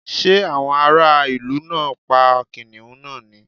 Ṣé àwọn ará ìlú náà pa kìnnìún náà ni?